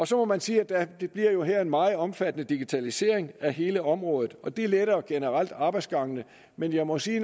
så må man sige at der bliver en meget omfattende digitalisering af hele området og det letter generelt arbejdsgangene men jeg må sige at